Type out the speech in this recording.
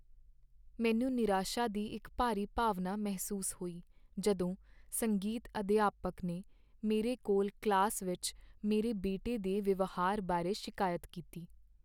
ਮੈਨੂੰ ਨਿਰਾਸ਼ਾ ਦੀ ਇੱਕ ਭਾਰੀ ਭਾਵਨਾ ਮਹਿਸੂਸ ਹੋਈ ਜਦੋਂ ਸੰਗੀਤ ਅਧਿਆਪਕ ਨੇ ਮੇਰੇ ਕੋਲ ਕਲਾਸ ਵਿੱਚ ਮੇਰੇ ਬੇਟੇ ਦੇ ਵਿਵਹਾਰ ਬਾਰੇ ਸ਼ਿਕਾਇਤ ਕੀਤੀ।